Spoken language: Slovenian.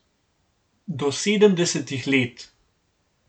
Do sedemdesetih let.